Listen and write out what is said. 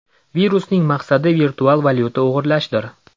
Virusning maqsadi virtual valyuta o‘g‘irlashdir.